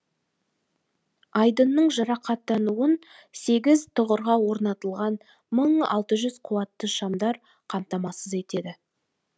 айдынның жарықтануын сегіз тұғырға орнатылған мың алты жүз қуатты шамдар қамтамасыз етеді